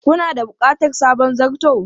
Kana da bukatar sabon zarto?